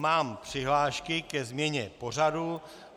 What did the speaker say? Mám přihlášky ke změně pořadu.